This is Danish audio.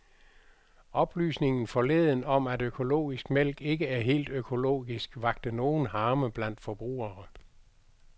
Oplysningen forleden om, at økologisk mælk ikke er helt økologisk, vakte nogen harme blandt forbrugere.